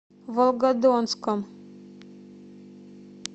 волгодонском